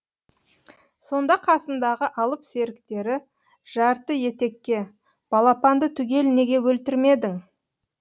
сонда қасындағы алып серіктері жарты етекке балапанды түгел неге өлтірмедің